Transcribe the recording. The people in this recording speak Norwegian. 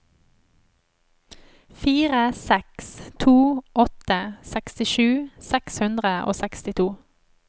fire seks to åtte sekstisju seks hundre og sekstito